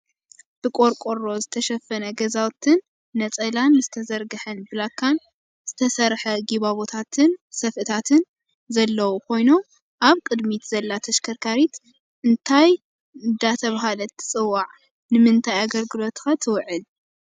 ብቆርቆሮ ዝተሸፈነ ገዛውቲን ነፀላን ዝተዘርገሐን ብላካን ዝተሰረሐጉባቦታትን ሰፍእታትን ዘለው ኮይኑም ኣብ ቅድሚት ዘላ ተሽከርካሪት እንታይ እንዳተባህለት ትፅዋዕN ንምንታይ ኣገልግሎት ትውዕል?